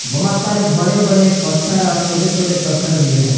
बहुत सारे बड़े बड़े पत्थर और बहुत सारे छोटे छोटे पत्थर भी है।